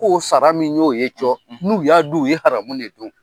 K'o fara min y'o ye cɔ n'u y'a dun u ye haramu de dun